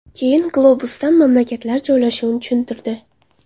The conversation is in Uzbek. Keyin globusdan mamlakatlar joylashuvini tushuntirdi.